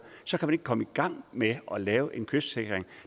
så kan man ikke komme i gang med at lave en kystsikring